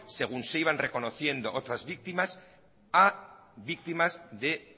según se iban reconociendo otras víctimas a víctimas de